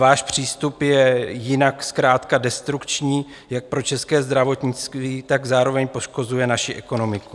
Váš přístup je jinak zkrátka destrukční jak pro české zdravotnictví, tak zároveň poškozuje naši ekonomiku.